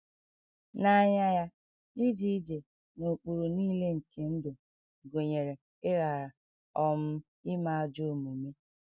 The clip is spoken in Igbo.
N’anya ya, ije ije “ n’ụkpụrụ nile nke ndụ ” gụnyere ‘ ịghara um ime ajọ omume. ’.’